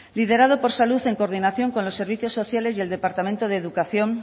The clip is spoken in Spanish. liderado por salud en coordinación con los servicios sociales y el departamento de educación